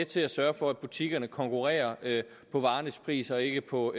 til at sørge for at butikkerne konkurrerer på varernes pris og ikke på